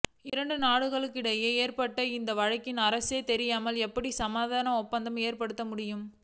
இரண்டு நாடுகளுக்கு இடையே ஏற்பட்டுள்ள இந்த வழக்கில் அரசுக்கே தெரியாமல் எப்படி சமரச ஒப்பந்தம் ஏற்படுத்த முடியும்